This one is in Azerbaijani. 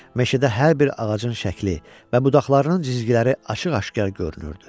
Meşədə hər bir ağacın şəkli və budaqlarının cizgiləri açıq-aşkar görünürdü.